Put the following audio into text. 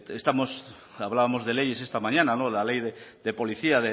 hablábamos de leyes esta mañana la ley de policía